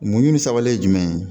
Mun ɲinisawale ye jumɛn ye